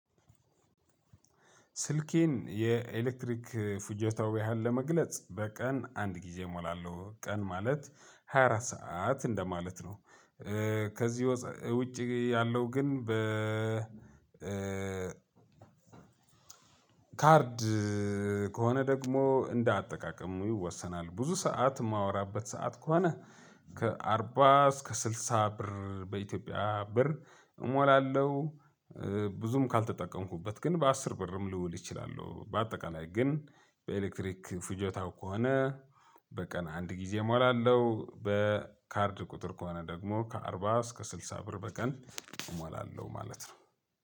ስልኬን የኤሌክትሪክ ፉጀታው ያህል ለመግለጽ በቀን አንድ ጊዜ እሞላለሁ ቀን ማለት ሃያ አራት ሰዓት እንደማለት ነው። ከዚህ ውጪ ያለው ግን በ ካርድ ከሆነ ደግሞ እንደ አጠቃቀም ይወሰናል። ብዙ ሰዓት እማወራበት ሰዓት ከሆነ ከ አርባ እስከ ስልሳ ብር በኢትዮጵያ ብር እሞላለሁ። ብዙም ካልተጠቀምኩበት ግን በአስር ብርም ልውል እችላለሁ። በአጠቃላይ ግን በኤሌክትሪክ ፉጀታው ከሆነ በቀን አንድ ጊዜ እሞላለሁ። በካርድ ቁጥር ከሆነ ደግሞ ከአርባ እስከ ስልሳ ብር በቀን እሞላለሁ ማለት ነው።